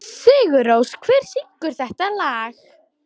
Sigurrós, hver syngur þetta lag?